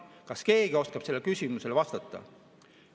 Kas keegi oskab sellele küsimusele vastata?